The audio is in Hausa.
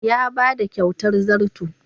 Ya ba da kyatar zarto.